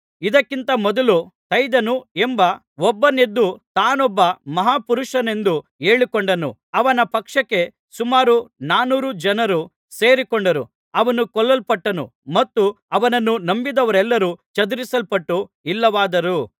ಇದಕ್ಕಿಂತ ಮೊದಲು ಥೈದನು ಎಂಬ ಒಬ್ಬನು ಎದ್ದು ತಾನೊಬ್ಬ ಮಹಾಪುರುಷನೆಂದು ಹೇಳಿಕೊಂಡನು ಅವನ ಪಕ್ಷಕ್ಕೆ ಸುಮಾರು ನಾನೂರು ಜನರು ಸೇರಿಕೊಂಡರು ಅವನು ಕೊಲ್ಲಲ್ಪಟ್ಟನು ಮತ್ತು ಅವನನ್ನು ನಂಬಿದವರೆಲ್ಲರು ಚದರಿಸಲ್ಪಟ್ಟು ಇಲ್ಲವಾದರು